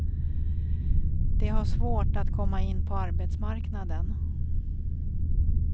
De har svårt att komma in på arbetsmarknaden.